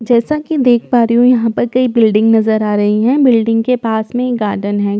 जैसा की देख पा रही हूं यहां पर कई बिल्डिंग नजर आ रही हैं बिल्डिंग के पास में गार्डन है।